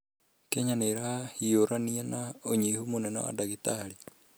Kenya nĩ ĩrahiũrania na ũnyihu mũnene wa ndagĩtarĩ